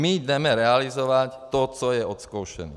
My jdeme realizovat to, co je odzkoušeno.